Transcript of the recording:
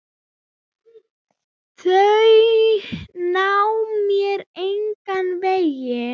Þau ná mér engan veginn.